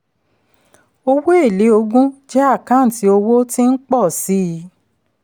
owó èlé ogún jẹ́ àkáǹtí owó tí ń pọ̀ sí i.